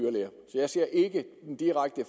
jeg ser ikke nogen direkte